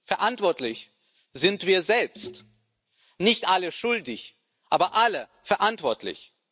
Verantwortlich sind wir selbst, nicht alle schuldig, aber alle verantwortlich.